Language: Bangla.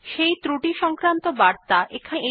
সেই ত্রুটি সংক্রান্ত বার্তা এখানে দেখা যাচ্ছে